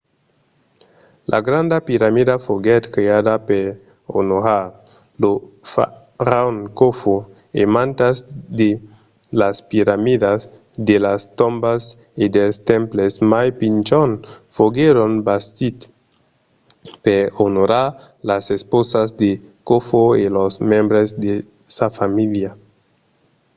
la granda piramida foguèt creada per onorar lo faraon khofo e mantas de las piramidas de las tombas e dels temples mai pichons foguèron bastits per onorar las esposas de khofo e los membres de sa famíilha